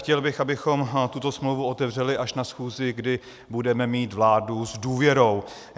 Chtěl bych, abychom tuto smlouvu otevřeli až na schůzi, kdy budeme mít vládu s důvěrou.